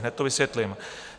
Hned to vysvětlím.